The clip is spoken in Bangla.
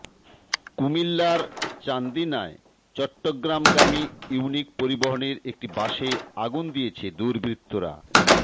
কুমিল্লার চান্দিনায় চট্টগ্রামগামী ইউনিক পরিবহনের একটি বাসে আগুন দিয়েছে দুর্বৃত্তরা